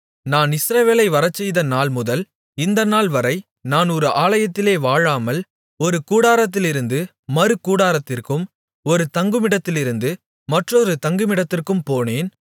நான் இஸ்ரவேலை வரச்செய்த நாள்முதல் இந்த நாள்வரை நான் ஒரு ஆலயத்திலே வாழாமல் ஒரு கூடாரத்திலிருந்து மறு கூடாரத்திற்கும் ஒரு தங்குமிடத்திலிருந்து மற்றொரு தங்குமிடத்திற்கும் போனேன்